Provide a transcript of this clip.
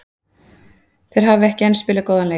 Þeir hafa enn ekki spilað góðan leik.